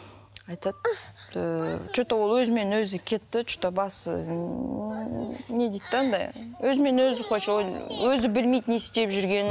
айтады ыыы че то ол өзімен өзі кетті че то басы ыыы не дейді де анандай өзімен өзі өзі білмейді не істеп жүргенін